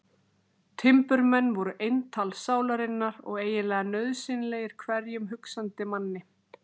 Timburmenn voru eintal sálarinnar og eiginlega nauðsynlegir hverjum hugsandi manni.